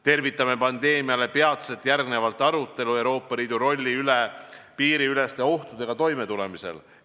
Tervitame pandeemiale peatselt järgnevat arutelu Euroopa Liidu rolli üle piiriüleste ohtudega toimetulemisel.